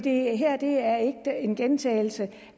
gentaget det